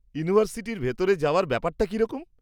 ইউনিভার্সিটির ভিতরে যাওয়ার ব্যাপারটা কীরকম?